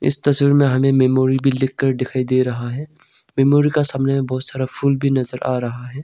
इस तस्वीर मे हमें मेमोरी बिल्डिंग दिखाई दे रहा है मेमोरी का सामने बहुत सारा फूल भी नजर आ रहा है।